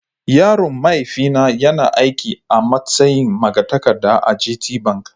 Yaron mahaifina yana aiki a matsayin magatakarda a gt bank.